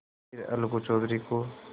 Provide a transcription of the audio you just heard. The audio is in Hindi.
फिर अलगू चौधरी को